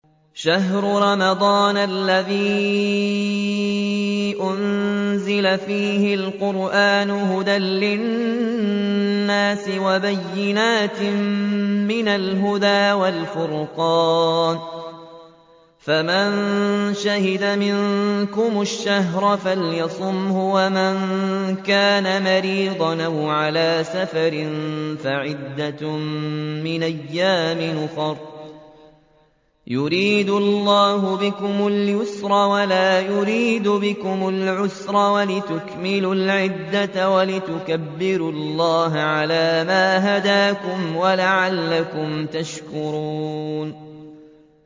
شَهْرُ رَمَضَانَ الَّذِي أُنزِلَ فِيهِ الْقُرْآنُ هُدًى لِّلنَّاسِ وَبَيِّنَاتٍ مِّنَ الْهُدَىٰ وَالْفُرْقَانِ ۚ فَمَن شَهِدَ مِنكُمُ الشَّهْرَ فَلْيَصُمْهُ ۖ وَمَن كَانَ مَرِيضًا أَوْ عَلَىٰ سَفَرٍ فَعِدَّةٌ مِّنْ أَيَّامٍ أُخَرَ ۗ يُرِيدُ اللَّهُ بِكُمُ الْيُسْرَ وَلَا يُرِيدُ بِكُمُ الْعُسْرَ وَلِتُكْمِلُوا الْعِدَّةَ وَلِتُكَبِّرُوا اللَّهَ عَلَىٰ مَا هَدَاكُمْ وَلَعَلَّكُمْ تَشْكُرُونَ